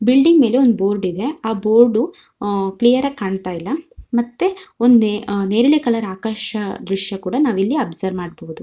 Building ಮೇಲೆ ಒಂದ board ಇದೆ ಆ ಬೋರ್ಡ್ ಅಹ್ ಕ್ಲಿಯರ್ ಆಗಿ ಕಾಣತ್ತಾ ಇಲ್ಲಾ ಮತ್ತೆ ಒಂದೇ ಅಹ್ ನೇರಳೆ ಕಲರ್ ಆಕಾಶ ದೃಶ್ಯ ಕೂಡ ನಾವಿಲ್ಲಿ ಅಬ್ಸರ್ವ್ ಮಾಡಬಹುದು.